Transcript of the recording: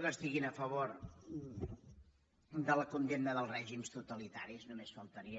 que estiguin a favor de la condemna dels règims totalitaris només faltaria